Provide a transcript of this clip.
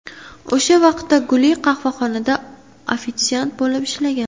O‘sha vaqtda Guli qahvaxonada ofitsiant bo‘lib ishlagan.